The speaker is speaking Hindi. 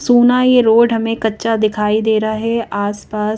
सूना ये रोड हमें कच्चा दिखाई दे रहा है आस पास--